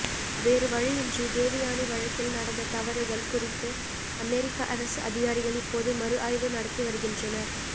வேறுவழியின்றி தேவயானி வழக்கில் நடந்த தவறுகள் குறித்து அமெரிக்க அரசு அதிகாரிகள் இப்போது மறுஆய்வு நடத்தி வருகின்றனர்